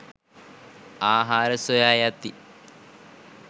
ආහාර සොයා යති